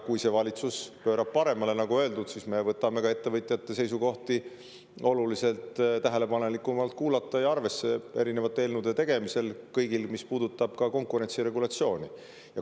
Kui see valitsus pöörab paremale, nagu öeldud, siis me võtame ettevõtjate seisukohti oluliselt tähelepanelikumalt kuulata ja ka rohkem arvesse erinevate eelnõude tegemisel, kõigi puhul, mis puudutavad konkurentsi ja regulatsiooni.